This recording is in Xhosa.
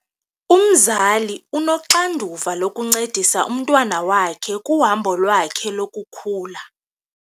Umzali unoxanduva lokuncedisa umntwana wakhe kuhambo lwakhe lokukhula.